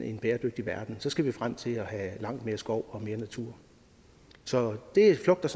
en bæredygtig verden så skal vi frem til at have langt mere skov og mere natur så det flugter